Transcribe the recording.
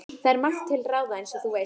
Það er margt til ráða, eins og þú veist